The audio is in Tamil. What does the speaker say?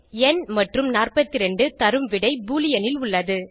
ந் மற்றும் 42 தரும் விடை பூலியன் இல் உள்ளது